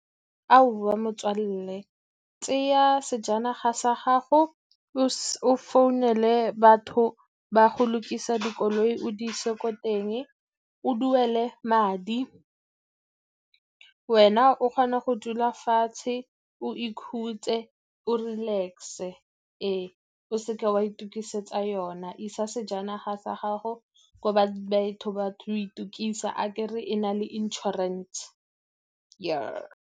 Aowa, motswalle tseya sejanaga sa gago o founele batho ba go lokisa dikoloi, o di ise ko teng, o duele madi, wena o kgone go dula fatshe o ikhutse, o relax-e. Ee, o seke wa itokisetsa yona isa sejanaga sa gago ko itukisa, akere e na le insurance.